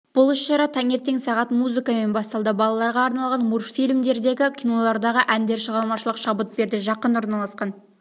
бұл іс-шара таңертең сағат музыкамен басталды балаларға арналған мультфильмдердегі кинолардағы әндер шығармашылық шабыт берді жақын орналасқан